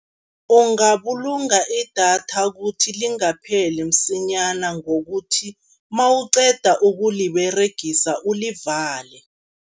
Ungabulunga idatha kuthi lingapheli msinyana ngokuthi nawuqeda ukuliberegisa ulivale.